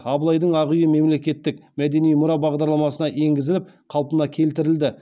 абылайдың ақ үйі мемлекеттік мәдени мұра бағдарламасына енгізіліп қалпына келтірілді